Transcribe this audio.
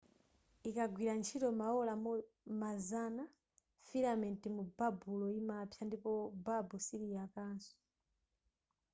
ikagwira ntchito maola mazana filamenti mubabulo imapsa ndipo babu siliyakaso